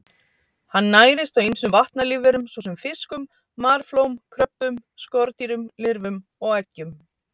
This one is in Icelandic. Hann nærist á ýmsum vatnalífverum svo sem fiskum, marflóm, kröbbum, skordýrum, lirfum og eggjum.